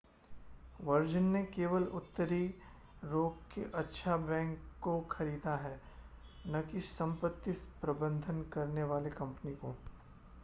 virgin ने केवल उत्तरी रॉक के अच्छा बैंक को खरीदा है न कि संपत्ति प्रबंधन करने वाली कंपनी को